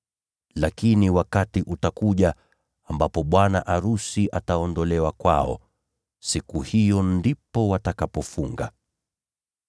Lakini wakati utafika ambapo bwana arusi ataondolewa kwao. Siku hiyo ndipo watakapofunga.